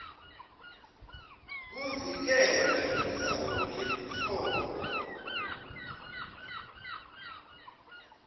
kuvikela indzawo yemtfombo